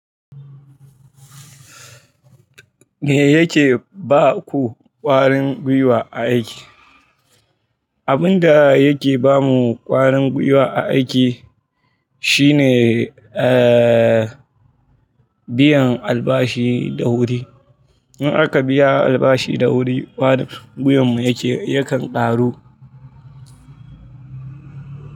Me yake ba ku ƙwarin gwiwa a aiki? Abin da yake ba mu ƙwarin gwiwa a aiki shine, eh, biyan albashi da wuri. In aka biya albashi da wuri ƙwarin gwiwan mu yakan ƙaru.